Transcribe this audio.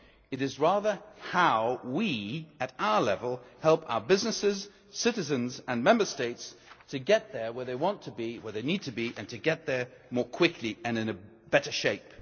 It is rather how we, at our level, help our businesses, citizens and Member States to get where they want to be, where they need to be, and to get there more quickly and in better shape.